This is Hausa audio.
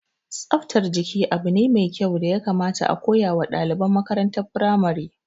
Tsaftar jiki abu ne mai kyau da ya kamata a koya wa ɗaliban makarantar firamare